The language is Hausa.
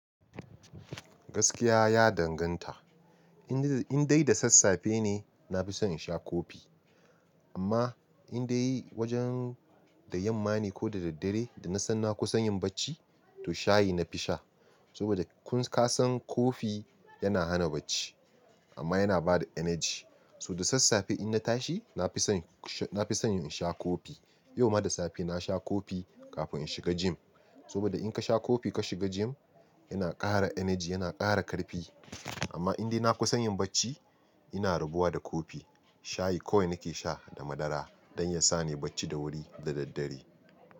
Gaskiya ya danganta, in dai da sassafe ne na fi son in sha coffee, amma in dai wajen da yamma ne ko da daddare da na san na kusan yin bacci to shayi na fi sha. Saboda kun ka san kofi yana hana bacci amma yana bada energy. So da sassafe in na tashi na fi son, na fi son in sha kofi. Yau ma da safe na sha kofi kafin in shiga gym. Saboda in ka sha kofi ka shiga gym yana ƙara energy, yana ƙara ƙarfi. Amma indai na kusan yin bacci ina rabuwa da kofi, shayi kawai nake sha da madara don ya sa ni bacci da wuri da daddare.